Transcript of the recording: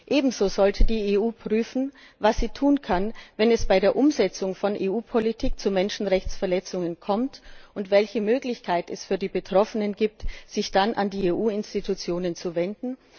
Ebenso sollte die EU prüfen, was sie tun kann, wenn es bei der Umsetzung von EU Politik zu Menschenrechtsverletzungen kommt, und welche Möglichkeit es für die Betroffenen gibt, sich dann an die EU Institutionen zu wenden.